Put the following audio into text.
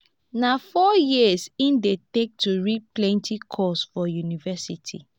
na four years e dey take to read plenty course for university.